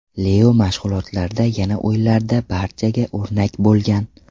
Leo mashg‘ulotlarda va o‘yinlarda barchaga o‘rnak bo‘lgan.